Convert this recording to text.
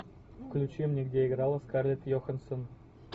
включи мне где играла скарлетт йоханссон